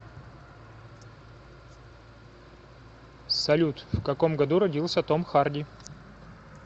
салют в каком году родился том харди